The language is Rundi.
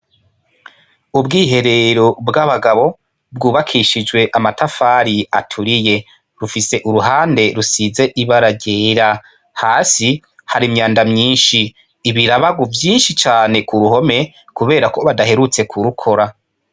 Ubwiherero bw'abagabo bwubakishijwe amatafari aturiye, bufise uruhande rusize ibara ryera, hasi hari imyanda myinshi ibirabagu vyinshi cane ku ruhome kubera ko badaherutse kurukora.